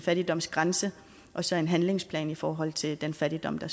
fattigdomsgrænse og så en handlingsplan i forhold til den fattigdom der